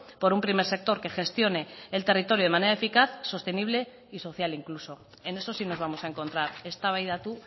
por un primer sector que gestione el territorio de manera eficaz sostenible y social incluso en eso sí nos vamos a encontrar eztabaidatu